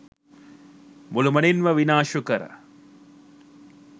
මුළුමනින්ම විනාශ කර